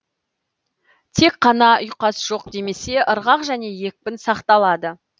тек қана ұйқас жоқ демесе ырғақ және екпін сақталады